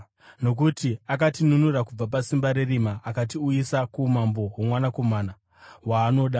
Nokuti akatinunura kubva pasimba rerima akatiuyisa kuumambo hwoMwanakomana waanoda,